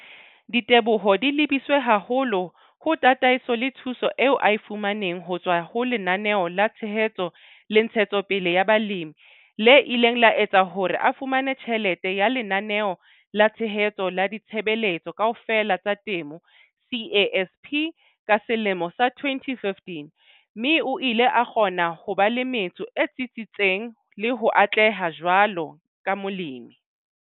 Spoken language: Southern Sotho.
Diteboho di lebiswe haholo ho tataiso le thuso eo a e fu maneng ho tswa ho Lenaneo la Tshehetso le Ntshetsopele ya Balemi le ileng la etsa hore a fumane tjhelete ya Lenaneo la Tshehetso la Ditshebeletso Kaofela tsa Temo CASP ka selemo sa 2015, mme o ile a kgona ho ba le metso e tsitsitseng le ho atleha jwaloka Molemi.